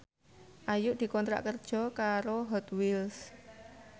Ayu dikontrak kerja karo Hot Wheels